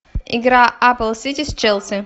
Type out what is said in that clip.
игра апл сити с челси